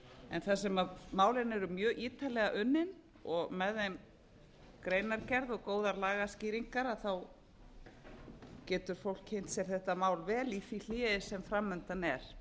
en þar sem málin eru mjög ítarlega unnin og með þeim greinargerð og góðar lagaskýringar getur fólk kynnt sér þetta mál í því hléi sem framundan er